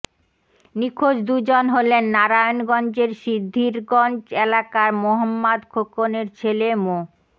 নিখোঁজ দুজন হলেন নারায়ণগঞ্জের সিদ্ধিরগঞ্জ এলাকার মোহাম্মদ খোকনের ছেলে মো